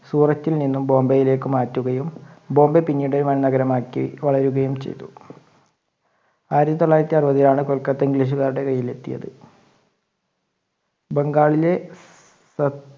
സൂറത്തിൽ നിന്നും ബോംബെയില്ലേക്ക് മാറ്റുകയും ബോംബെ പിന്നീട് വൻ നഗരമായി വളരുകയും ചെയ്തു. ആയിരത്തി തൊള്ളയിരത്തി അറുപത്തിൽ ആണ് കൊൽക്കട്ട ഇംഗ്ലീഷ്കാരുടെ കയ്യിൽ എത്തിയത്. ബംഗാളിലെ